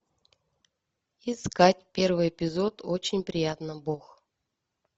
искать первый эпизод очень приятно бог